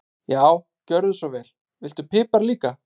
Já, gjörðu svo vel. Viltu pipar líka?